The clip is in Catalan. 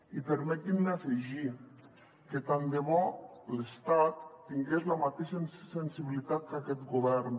i permetin me afegir que tant de bo l’estat tingués la mateixa sensibilitat que aquest govern